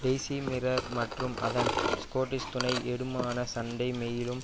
daisy Mirror மற்றும் அதன் Scottish துணை ஏடுமான சண்டே மெயிலும்